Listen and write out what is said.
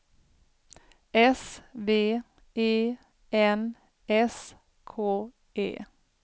S V E N S K E